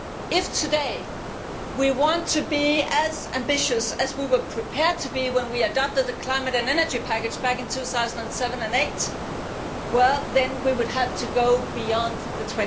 If today we want to be as ambitious as we were prepared to be when we adopted the Climate and Energy Package back in 2007 and 2008, we would then have to go beyond the